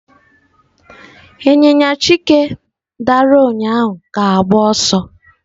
Ịnyịnya Chike dara ụnyahụ ga-agba ọsọ.